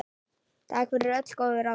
Takk fyrir öll góðu ráðin.